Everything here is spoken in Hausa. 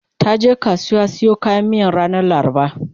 taje kasuwa siyo kayan miyan ranar laraba